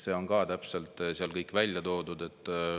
See on täpselt seal kõik välja toodud.